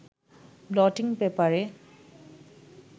bloating পেপারে